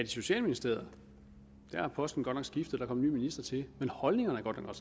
socialministeriet er posten godt nok skiftet og minister til og holdningerne er godt nok